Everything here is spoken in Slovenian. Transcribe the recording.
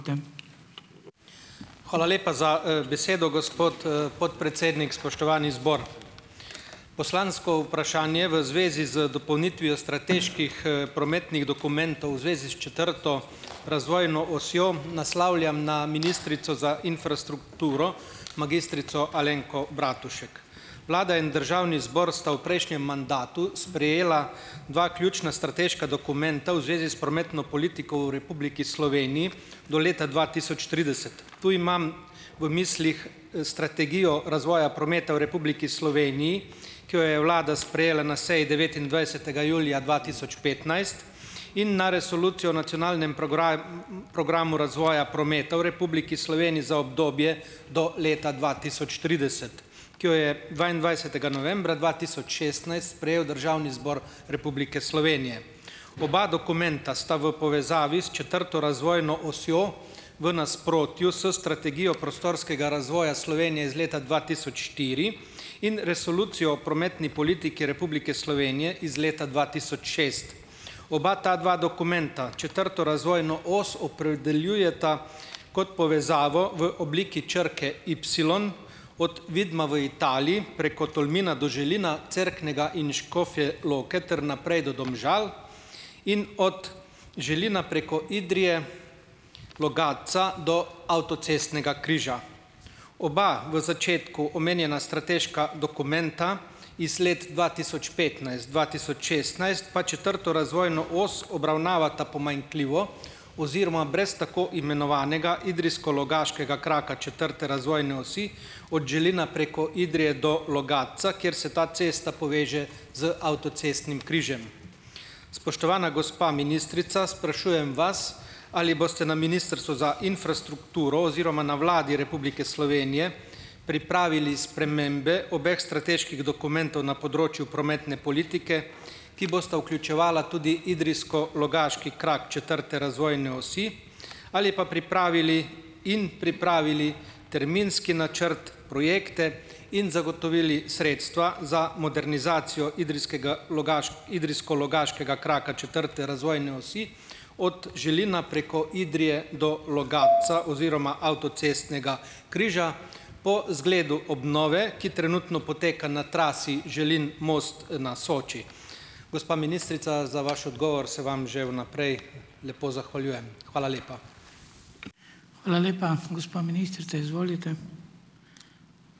Hvala lepa za besedo, gospod podpredsednik. Spoštovani zbor! Poslansko vprašanje v zvezi z dopolnitvijo strateških prometnih dokumentov v zvezi s četrto razvojno osjo naslavljam na ministrico za infrastrukturo, magistrico Alenko Bratušek. Vlada in Državni zbor sta v prejšnjem mandatu sprejela dva ključna strateška dokumenta v zvezi s prometno politiko v Republiki Sloveniji do leta dva tisoč trideset. Tu imam v mislih strategijo razvoja prometa v Republiki Sloveniji, ki jo je Vlada sprejela na seji devetindvajsetega julija dva tisoč petnajst in na resolucijo o nacionalnem programu razvoja prometa v Republiki Sloveniji za obdobje do leta dva tisoč trideset, ki jo je dvaindvajsetega novembra dva tisoč šestnajst sprejel Državni zbor Republike Slovenije. Oba dokumenta sta v povezavi s četrto razvojno osjo v nasprotju s strategijo prostorskega razvoja Slovenije iz leta dva tisoč štiri in resolucijo o prometni politiki Republike Slovenije iz leta dva tisoč šest. Oba ta dva dokumenta četrto razvojno os opredeljujeta kot povezavo v obliki črke ipsilon od Vidma v Italiji preko Tolmina do Želina, Cerknega in Škofje Loke ter naprej do Domžal in od Želina preko Idrije, Logatca do avtocestnega križa. Oba v začetku omenjena strateška dokumenta iz let dva tisoč petnajst dva tisoč šestnajst pa četrto razvojno os obravnavata pomanjkljivo oziroma brez tako imenovanega idrijsko-logaškega kraka četrte razvojne osi od Želina preko Idrije do Logatca, kjer se ta cesta poveže z avtocestnim križem. Spoštovana gospa ministrica! Sprašujem vas, ali boste na Ministrstvu za infrastrukturo oziroma na Vladi Republike Slovenije pripravili spremembe obeh strateških dokumentov na področju prometne politike, ki bosta vključevala tudi idrijsko-logaški krak četrte razvojne osi ali pa pripravili in pripravili terminski načrt, projekte in zagotovili sredstva za modernizacijo idrijskega-logaškega idrijsko-logaškega kraka četrte razvojne osi od Želina preko Idrije do Logatca oziroma avtocestnega križa po zgledu obnove, ki trenutno poteka na trasi Želin-Most na Soči. Gospa ministrica, za vaš odgovor se vam že vnaprej lepo zahvaljujem. Hvala lepa.